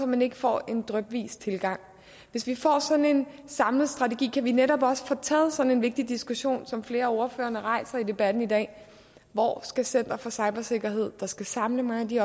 man ikke får en drypvis tilgang hvis vi får sådan en samlet strategi kan vi netop også få taget sådan en vigtig diskussion som flere af ordførerne rejser i debatten i dag hvor skal center for cybersikkerhed der skal samle mange af de